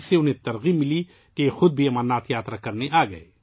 انہیں اتنا حوصلہ ملا کہ وہ خود امرناتھ یاترا کے لیے آئے